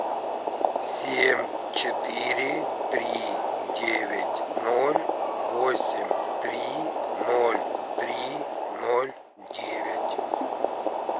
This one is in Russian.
семь четыре три девять ноль восемь три ноль три ноль девять